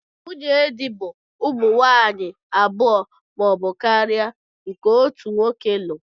Nwunye di bu ụmụ nwanyi abụọ ma ọbu karia nke otu nwoke lu.